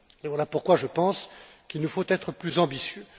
Voilà pourquoi je pense qu'il nous faut être plus ambitieux.